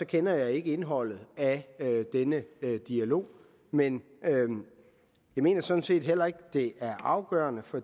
kender jeg ikke indholdet af denne dialog men jeg mener sådan set heller ikke at det er afgørende for